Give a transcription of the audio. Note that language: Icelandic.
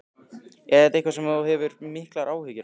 Er þetta eitthvað sem þú hefur miklar áhyggjur af?